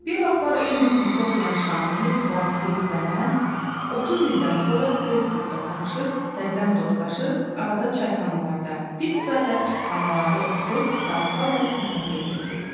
Bir vaxtlar eyni sinifdə oxuyan Şamil, Vasif və mən 30 ildən sonra Facebookda tapışıb, təzədən dostlaşıb, arada çayxanalarda, pizza və pitixanalarda oturub saatlarla söhbət eləyirdik.